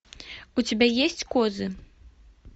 у тебя есть козы